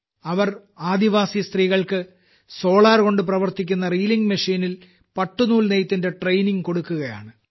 അവർ ആദിവാസി സ്ത്രീകൾക്ക് സോളാർകൊണ്ടു പ്രവർത്തിക്കുന്ന റീലിംഗ് മെഷീനിൽ പട്ടുനൂൽ നെയ്ത്തിന്റെ ട്രെയിനിംഗ് കൊടുക്കുകയാണ്